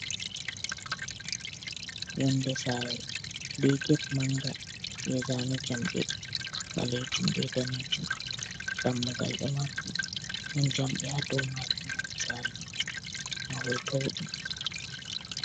Yonde sare be get manga, be zane jamɗe ɓaleejum be daneejum. Dammugal ɗo maɓɓi, ɗon jamɗe ha dou maajum, mahol sare maajum. Mahol towɗum.